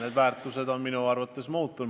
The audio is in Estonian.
Need väärtused on minu arvates muutunud.